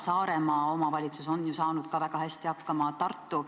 Saaremaa omavalitsus on ju saanud ka väga hästi hakkama, samuti Tartu.